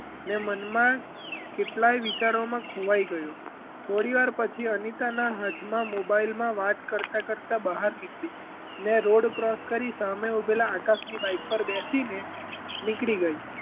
ને મનમાં કેટલાય વિચારોમાં ખોવાય ગયો થોડી વાર પછી અનિતાનાં હાથમાં મોબાઇલમાં વાત કરતાં કરતાં બહાર નીકળી ને road cross કરી સામે ઊંભેલા આકાશની bike પર બેસીને નીકળી ગઈ.